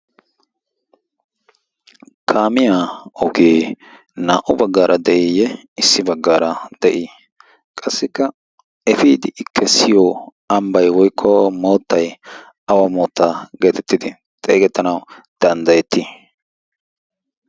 Kaamiya ogee naa"u baggaara de'iiyye issi baggaara de'ii? Qassikka efiiddi I kessiyo ambbay/moottay awa moottaa geetettidi xeegettanawu danddayettii?